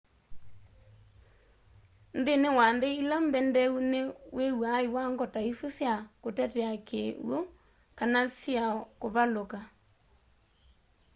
nthini wa nthi ili mbendeeu ni wiwaa iwango ta isu sya kutetea kiwu kana syiao kuvaluka